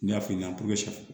N y'a f'i ɲɛna